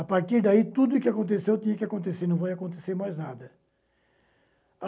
A partir daí, tudo o que aconteceu tinha que acontecer, não vai acontecer mais nada.